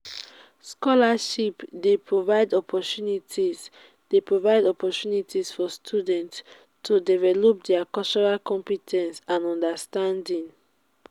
scholarships dey provide opportunities dey provide opportunities for students to develop dia cultural compe ten ce and understanding.